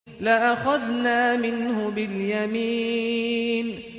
لَأَخَذْنَا مِنْهُ بِالْيَمِينِ